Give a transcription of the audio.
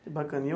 Que bacana.